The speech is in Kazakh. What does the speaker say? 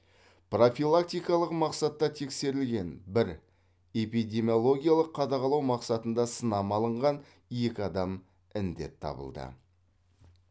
профилактикалық мақсатта тексерілген бір эпидемиологиялық қадағалау мақсатында сынама алынған екі адам індет табылды